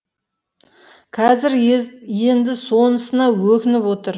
қазір енді сонысына өкініп отыр